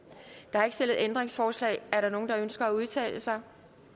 der er ikke stillet ændringsforslag er der nogen der ønsker at udtale sig